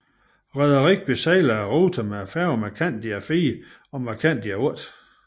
Rederiet besejler ruten med færgerne Mercandia IV og Mercandia VIII